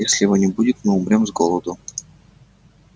если его не будет мы умрём с голоду